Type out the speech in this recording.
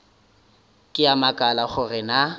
ke a makala gore na